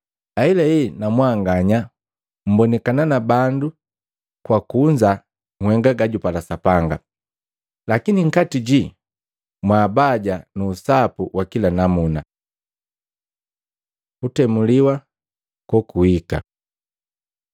Ahelahe na mwanganya mbonekana na bandu kwa kunza nnhenga gajupala Sapanga, lakini nkati jii mwaabaja nu usapu wa kila namuna. Kutemuliwa kokuhika Luka 11:47-51